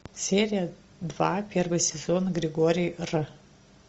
серия два первый сезон григорий р